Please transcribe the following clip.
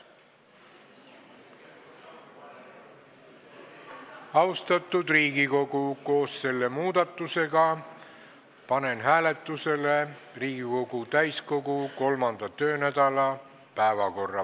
Austatud Riigikogu, koos selle muudatusega panen hääletusele Riigikogu täiskogu 3. töönädala päevakorra.